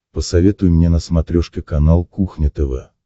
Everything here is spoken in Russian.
посоветуй мне на смотрешке канал кухня тв